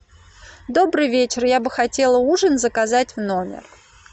добрый вечер я бы хотела ужин заказать в номер